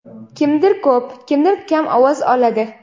Kimdir ko‘p, kimdir kam ovoz oladi.